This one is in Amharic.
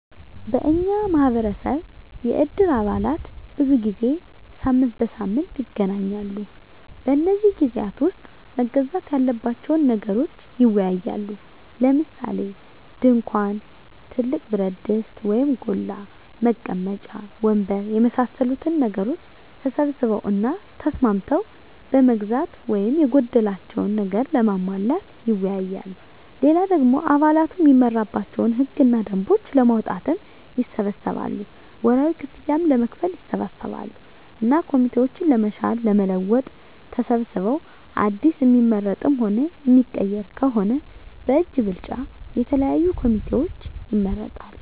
የኛ ማህበረሰብ የእድር አባላት ብዙ ጊዜ ሳምንት በሳምንት ይገናኛሉ። በነዚህ ግዜያት ዉስጥ መገዛት ያለባቸዉን ነገሮች ይወያያሉ። ለምሳሌ፦ ድንኳን፣ ትልቅ ብረትድስት (ጎላ) ፣ መቀመጫ ወንበር የመሳሰሉትን ነገሮች ተሰብስበዉ እና ተስማምተዉ ለመግዛት ወይም የጎደላቸዉን ነገሮች ለማሟላት ይወያያሉ። ሌላ ደሞ አባላቱ እሚመራባቸዉን ህግ እና ደንቦች ለማዉጣትም ይሰበሰባሉ፣ ወርሀዊ ክፍያም ለመክፈል ይሰበሰባሉ እና ኮሚቴዎችን ለመሻር ለመለወጥ ተሰብስበዉ አዲስ እሚመረጥም ሆነ እሚቀየር ከሆነም በእጅ ብልጫ የተለያዩ ኮሚቴዎችን ይመርጣሉ።